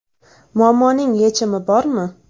Muammoning yechimi bormi?